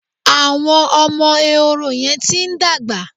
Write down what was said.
Àwọn ọmọ Ehoro yẹn ti ń dàgbà.